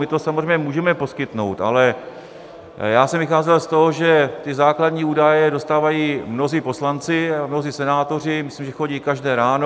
My to samozřejmě můžeme poskytnout, ale já jsem vycházel z toho, že ty základní údaje dostávají mnozí poslanci a mnozí senátoři, myslím, že chodí každé ráno.